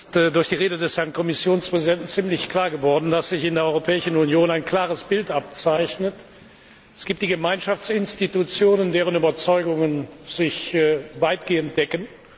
Es ist durch die Rede des Herrn Kommissionspräsidenten ziemlich deutlich geworden, dass sich in der Europäischen Union ein klares Bild abzeichnet Es gibt die Gemeinschaftsinstitutionen, deren Überzeugungen sich weitgehend decken.